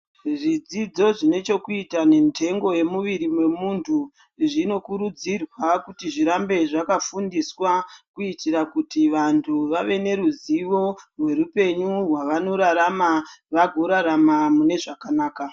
Zvidzidzo zvinochokuita yendengo yemuviri wemuntu zvinokurudzirwa kuti zvirambe zvakafundiswa kuitira kuti antu vave neruzivo rwerupenyu rwavanorarama vagorarama mune zvakanaka.